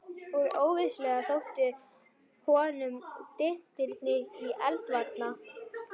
Og vissulega þóttu honum dyntirnir í eldvarna